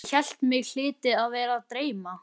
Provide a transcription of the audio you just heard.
Ég hélt mig hlyti að vera að dreyma.